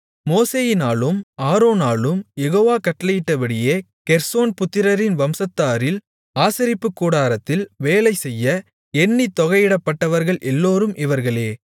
மோசேயினாலும் ஆரோனாலும் யெகோவா கட்டளையிட்டபடியே கெர்சோன் புத்திரரின் வம்சத்தாரில் ஆசரிப்புக் கூடாரத்தில் வேலைசெய்ய எண்ணித் தொகையிடப்பட்டவர்கள் எல்லோரும் இவர்களே